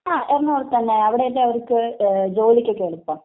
ങാ, എറണാകുളത്ത് തന്നെ, അവിടയല്ലേ അവർക്ക് ജോലിക്കൊക്കെ എളുപ്പം.